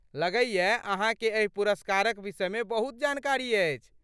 लगैये अहाँके एहि पुरस्कारक विषयमे बहुत जानकारी अछि।